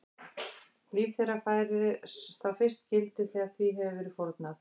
Líf þeirra fær þá fyrst gildi þegar því hefur verið fórnað.